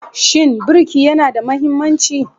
Shin birki yana da mahimmanci?